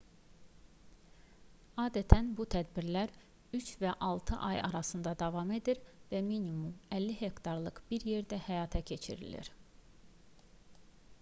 adətən bu tədbirlər üç və altı aya arasında davam edir və minimum 50 hektarlıq bir yerdə həyata keçirilir